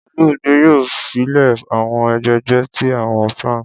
Olumide yoo file awọn egbegbe ti awọn planks.